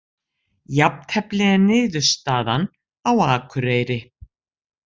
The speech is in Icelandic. Jafntefli er niðurstaðan á Akureyri